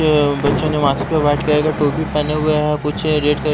बच्चों ने माथे पे व्हाइट कलर की टोपी पहने हुए हैं कुछ रेड --